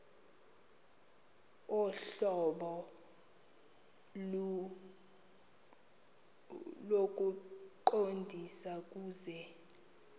ohlobo lokuqondisa kuse